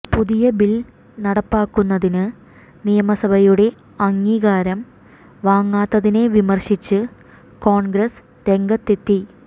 പുതിയ ബിൽ നടപ്പാക്കുന്നതിന് നിയമസഭയുടെ അംഗീകാരം വാങ്ങാത്തതിനെ വിമർശിച്ച് കോൺഗ്രസ് രംഗത്തെത്തി